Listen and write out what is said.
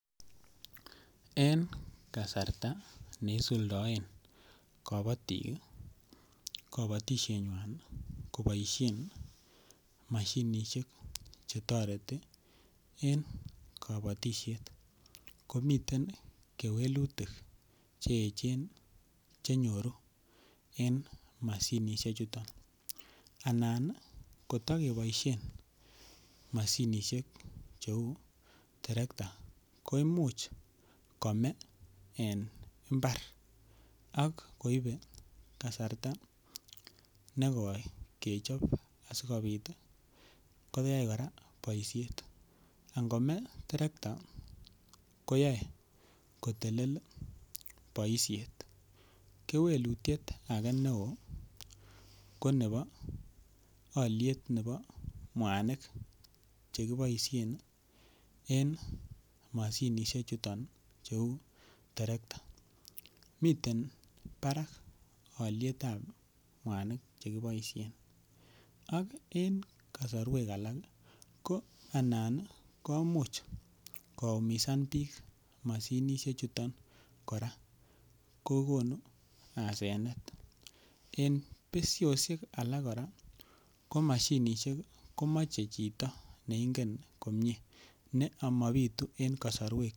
En kasarta neisuldaen kabotik kabatishenywai koboishen mashinishek chetoreti en kabotishet ko miten kewelutik cheechen chenyoru en mashinishek chuton anan kotakeboishen mashinishek cheu terekta ko imuch kome en imbar ak koibei kasarta nekoi kechob asikobit koyainkora boishet ngome terekta koyoe kotelel boishet kewelutyet ake neo ko nebo oliet nebo mwanik chekiboishen en mashinishechuton cheu terekta miten barak olietab mwanik chekiboishen ak en kasorwek alak ko anan komuch koumisan biik mashinishechuton kora kokonu asenet en beshoshiek alak kora ko mashinishek komachei chito neingen komye ne amabitu eng' kasarwek